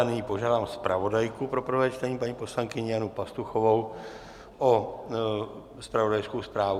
Nyní požádám zpravodajku pro prvé čtení, paní poslankyni Janu Pastuchovou o zpravodajskou zprávu.